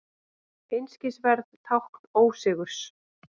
Einskisverð tákn ósigurs.